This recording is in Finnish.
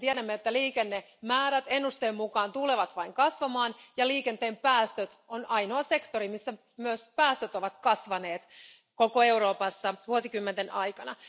Tiedämme, että liikennemäärät ennusteen mukaan tulevat vain kasvamaan ja liikenteen päästöt on ainoa sektori, missä myös päästöt ovat kasvaneet koko Euroopassa vuosikymmenten aikana.